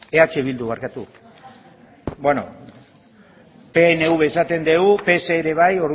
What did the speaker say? eh bildu barkatu pnv esaten dugu pse ere bai